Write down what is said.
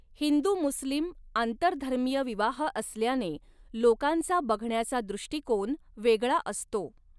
हिंदूमुस्लिम' आंतरधर्मीय विवाह असल्याने लोकांचा बघण्याचा दृष्टीकोन वेगळा असतो.